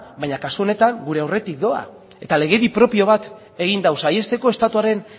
baina kasu honetan gure aurretik doa eta legedi propio bat egin du saihesteko estatuaren